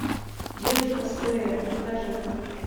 девушка с плеером покажи